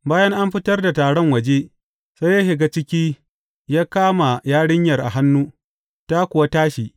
Bayan an fitar da taron waje, sai ya shiga ciki ya kama yarinyar a hannu, ta kuwa tashi.